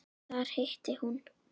Þar hitti hún